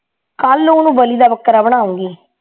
ਕੱਲ ਨੂੰ ਉਹਨੂੰ ਬਲੀ ਦਾ ਬੱਕਰਾ ਬਣਾਉਣੀ